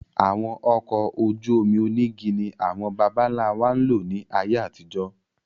Àwọn ọkọ̀ ojú omi onígi ni àwọn bàbá ńlá wa ń lò ní ayé àtijó.